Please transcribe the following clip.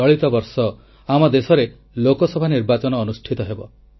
ଚଳିତ ବର୍ଷ ଆମ ଦେଶରେ ଲୋକସଭା ନିର୍ବାଚନ ଅନୁଷ୍ଠିତ ହେବ